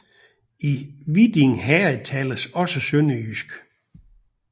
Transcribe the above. I Viding Herred tales også sønderjysk